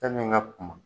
Fɛn min ka kun